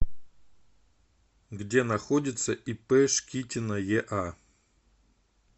где находится ип шкитина еа